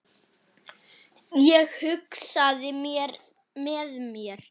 Ég hugsaði með mér